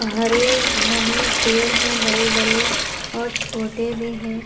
हरे घने पेड़ है बड़े बड़े और छोटे भी हैं।